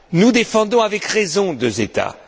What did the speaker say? Nous défendons avec raison deux États.